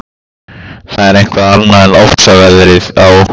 Það er eitthvað annað en ofsaveðrið á